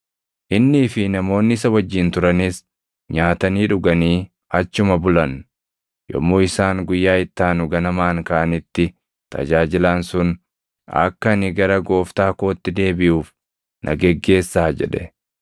Innii fi namoonni isa wajjin turanis nyaatanii dhuganii achuma bulan. Yommuu isaan guyyaa itti aanu ganamaan kaʼanitti tajaajilaan sun, “Akka ani gara gooftaa kootti deebiʼuuf na geggeessaa” jedhe.